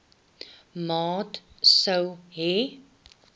maat sou hê